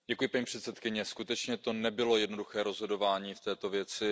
Paní předsedající, skutečně to nebylo jednoduché rozhodování v této věci.